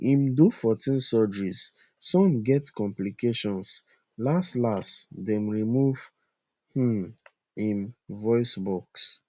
im do 14 surgeries some get complications las las dem remove um im voice box